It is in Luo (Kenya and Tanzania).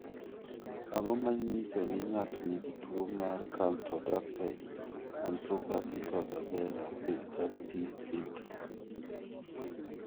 Ang�o ma nyiso ni ng�ato nigi tuo mar Camptodactyly arthropathy coxa vara pericarditis syndrome?